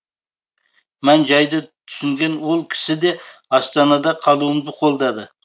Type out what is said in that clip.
мән жайды түсінген ол кісі де астанада қалуымды қолдады